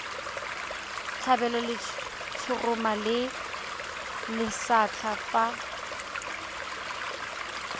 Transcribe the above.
tlhabelwa letshoroma le lesetlha fa